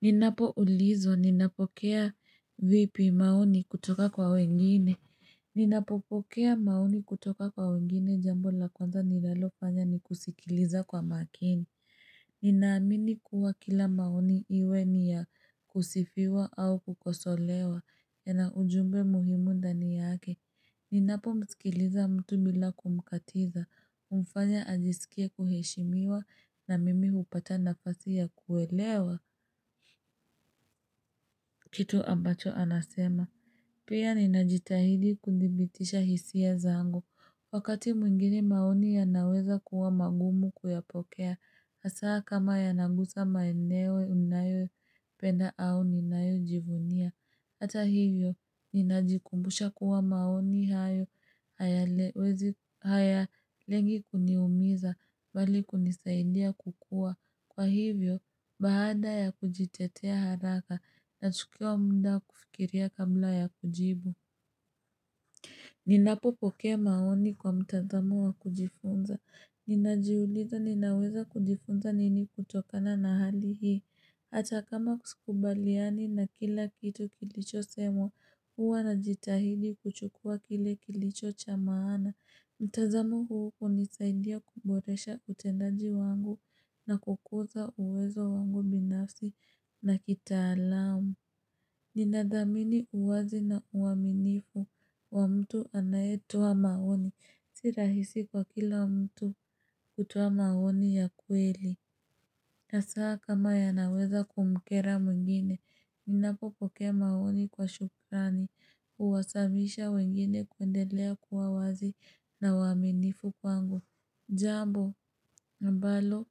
Ninapo ulizwa, ninapokea vipi maoni kutoka kwa wengine. Ninapopokea maoni kutoka kwa wengine jambo la kwanza nilalo fanya ni kusikiliza kwa makini. Ninaamini kuwa kila maoni iwe ni ya kusifiwa au kukosolewa. Yana ujumbe muhimuu ndani yaake. Ninapo msikiliza mtu bila kumkatiza. Mfanya ajisikie kuheshimiwa na mimi hupata nafasi ya kuelewa. Kitu ambacho anasema. Pia ninajitahidi kudhibitisha hisia zangu. Wakati mwingine maoni yanaweza kuwa magumu kuyapokea. Hasaa kama yanagusa maeneo unayo penda au ninayo jivunia. Hata hivyo, ninajikumbusha kuwa maoni hayo hayawezi haya lengi kuniumiza bali kunisaidia kukua. Kwa hivyo, baada ya kujitetea haraka na chukiwa mnda kufikiria kabla ya kujibu. Ninapopokea maoni kwa mtazamo wa kujifunza. Ninajiuliza ninaweza kujifunza nini kutokana na hali hii. Hata kama skubaliani na kila kitu kilicho semwa huwa na jitahidi kuchukua kile kilicho cha maana. Mtazamu huu hunisaidia kuboresha utendaji wangu na kukuza uwezo wangu binafsi na kitaalamu. Ninadhamini uwazi na uaminifu wa mtu anayetoa maoni. Si rahisi kwa kila mtu kutoa maoni ya kweli. Hasaa kama ya naweza kumkera mwengine, ninapopokea maoni kwa shukrani, uwasavisha wengine kuendelea kuwa wazi na waminifu kwangu. Jambo ambalo